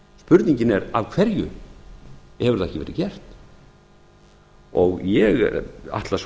spurningin er af hverju hefur það ekki verið gert ég ætla svo